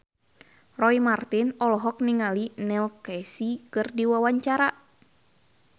Roy Marten olohok ningali Neil Casey keur diwawancara